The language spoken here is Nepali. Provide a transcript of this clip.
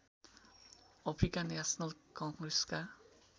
Africa National कङ्ग्रेसका